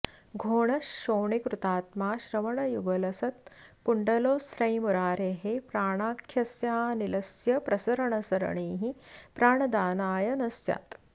घोणः शोणीकृतात्मा श्रवणयुगलसत्कुण्डलोस्रैर्मुरारेः प्राणाख्यस्यानिलस्य प्रसरणसरणिः प्राणदानाय नः स्यात्